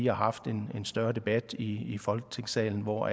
har haft en større debat i folketingssalen hvor